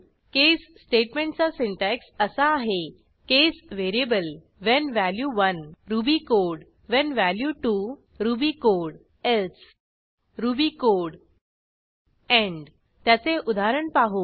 केस स्टेटमेंटचा सिंटॅक्स असा आहे case variable when value 1 Ruby code when value 2 Ruby code else Ruby code end त्याचे उदाहरण पाहू